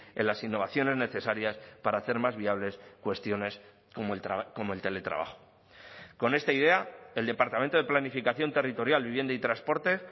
en las innovaciones necesarias para hacer más viables cuestiones como el teletrabajo con esta idea el departamento de planificación territorial vivienda y transporte